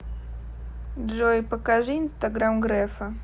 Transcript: джой покажи инстаграм грефа